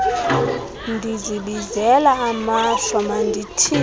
ndizibizela amashwa mandithini